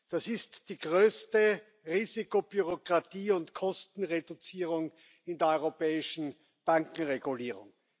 Das ist die größte Risikobürokratie und Kostenreduzierung in der europäischen Bankenregulierung.